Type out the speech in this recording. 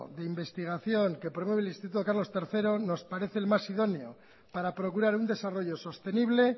de investigación que promueve el instituto carlos tercero nos parece el más idóneo para procurar un desarrollo sostenible